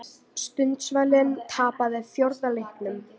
Sundsvall tapaði fjórða leiknum